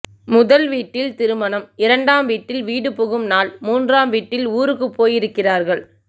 முதல் வீட்டில் திருமணம் இரண்டாம் வீட்டில் வீடுபுகும் நாள் மூன்றாம் வீட்டில் ஊருக்கு போயிருக்கிறார்கள்